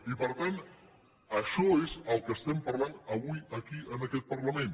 i per tant això és el que estem parlant avui aquí en aquest parlament